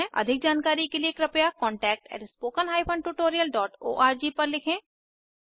अधिक जानकारी के लिए कृपया contactspoken tutorialorg पर लिखें